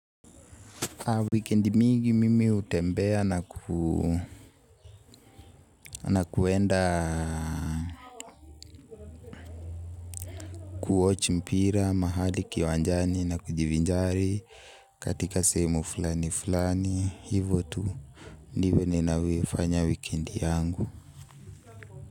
Weekend mingi mimi hutembea na kuenda kuwatch mpira mahali kiwanjani na kujivinjari katika sehemu flani flani hivo tu ndivo ninavyoifanya weekend yangu.